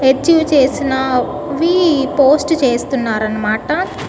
Achieve చేసిన వి post చేస్తున్నారన్నమాట.